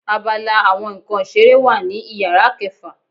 Àbàlá awọn nkán ìseré wa ní ìyára kẹfa